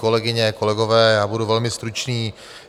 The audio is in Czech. Kolegyně, kolegové, já budu velmi stručný.